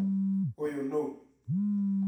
ũyũ nũũ?